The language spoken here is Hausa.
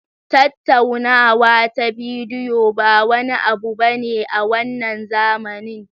Tattaunawa ta bidiyo ba wani abu bane a wannan zamanin.